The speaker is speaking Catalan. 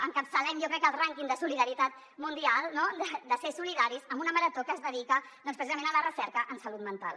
encapçalem jo crec el rànquing de solidaritat mundial no de ser solidaris amb una marató que es dedica doncs precisament a la recerca en salut mental